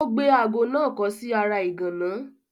Ó gbé aago náà kọ́ sí ara ìgànná.